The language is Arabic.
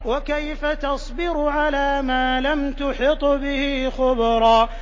وَكَيْفَ تَصْبِرُ عَلَىٰ مَا لَمْ تُحِطْ بِهِ خُبْرًا